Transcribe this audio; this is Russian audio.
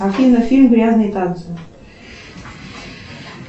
афина фильм грязные танцы